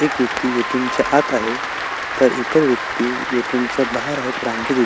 एक व्यक्ति ए.टी.एम. आत आहे तर इतर व्यक्ति ए.टी.एम. च्या बाहेर आहेत रांगेत उ--